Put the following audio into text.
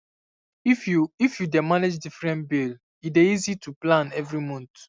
if you if you dey manage different bill e dey easy to plan every month